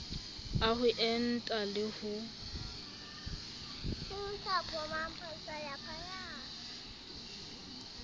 a ho enta le ho